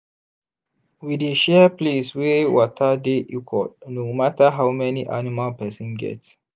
we dey share place wey water dey equal no matter how many animal person get.